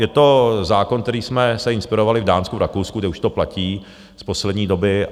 Je to zákon, kterým jsme se inspirovali v Dánsku, v Rakousku, kde už to platí z poslední doby.